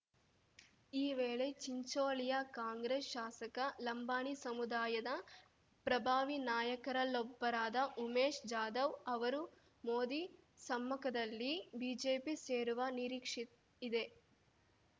ಈ ವೇಳೆ ಚಿಂಚೋಳಿಯ ಕಾಂಗ್ರೆಸ್‌ ಶಾಸಕ ಲಂಬಾಣಿ ಸಮುದಾಯದ ಪ್ರಭಾವಿ ನಾಯಕರಲ್ಲೊಬ್ಬರಾದ ಉಮೇಶ್‌ ಜಾಧವ್‌ ಅವರು ಮೋದಿ ಸಮ್ಮುಖದಲ್ಲಿ ಬಿಜೆಪಿ ಸೇರುವ ನಿರೀಕ್ಷೆ ಇದೆ